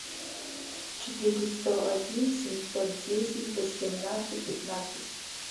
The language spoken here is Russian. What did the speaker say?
четыре сто один семьсот десять восемнадцать пятнадцать